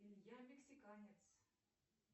илья мексиканец